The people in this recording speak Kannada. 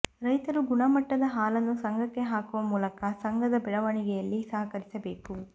ರೈತರು ಗುಣಮಟ್ಟದ ಹಾಲನ್ನು ಸಂಘಕ್ಕೆ ಹಾಕುವ ಮೂಲಕ ಸಂಘದ ಬೆಳವಣಿಗೆಯಲ್ಲಿ ಸಹಕರಿಸಬೇಕು